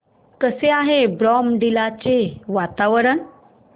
कसे आहे बॉमडिला चे वातावरण